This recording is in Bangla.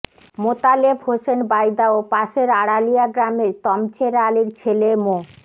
মোতালেব হোসেন বাইদা ও পাশের আড়ালিয়া গ্রামের তমছের আলীর ছেলে মো